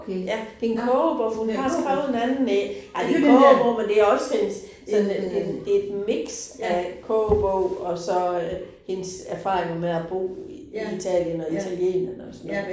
Ja, det en kogebog hun har skrevet en anden én. Ej det en kogebog, men det også en sådan en en, det et mix af kogebog, og så øh hendes erfaringer med at bo i Italien og italienerne og sådan noget